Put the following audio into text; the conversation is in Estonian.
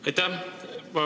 Aitäh!